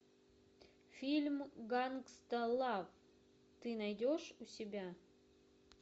фильм гангста лав ты найдешь у себя